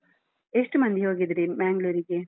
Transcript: ಎಷ್ಟು ಮಂದಿ ಹೋಗಿದ್ರಿ Mangalore ಗೆ?